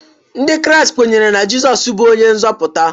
Ndị Kraịst kweere na Jizọs bụ onye nzọpụta.